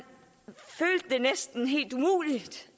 det næsten var helt umuligt